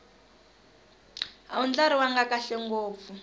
a wu ndlariwanga kahle ngopfu